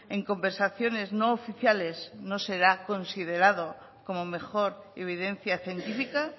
en conversaciones no oficiales no será considerado como mejor evidencia científica